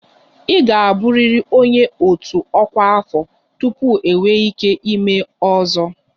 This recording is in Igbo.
Ị ga-abụrịrị onye otu ọkwa afọ tupu ị nwee ike ịme 'ozo'